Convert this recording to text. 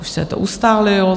Už se to ustálilo.